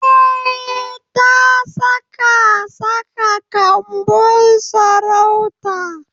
Eh, ta saka saka kanbun sarautar.